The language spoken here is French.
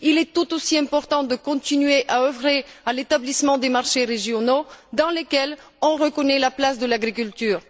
Il est tout aussi important de continuer à œuvrer à l'établissement des marchés régionaux dans lesquels on reconnaît la place de l'agriculture.